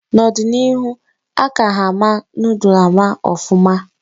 N'ọdịnihu a ka ha ama noodul ama ọfụma